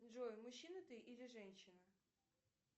джой мужчина ты или женщина